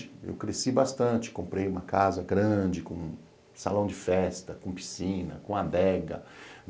Eu cresci bastante, comprei uma casa grande com salão de festa, com piscina, com adega.